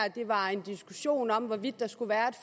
var en diskussion om hvorvidt der skulle være